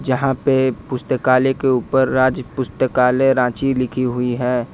यहां पे पुस्तकालय के ऊपर राज्य पुस्तकालय रांची लिखी हुई है।